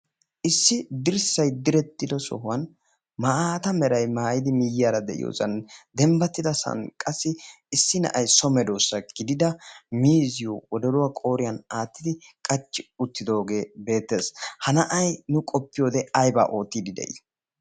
Issi dirssay direttido sohuwan maaata meray maayidi miiyyaara de'iyosan dembbattida sa'an qassi issi na'ay so medoosa gidida miizziyo wodoruwaa qooriyan aattidi qachchi uttidoogee beettees. Ha na'ay nu qoppiyoode aybaa oottiidi de'ii?